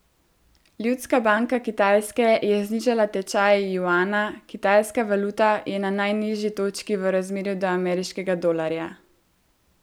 Ljudska banka Kitajske je znižala tečaj juana, kitajska valuta je na najnižji točki v razmerju do ameriškega dolarja.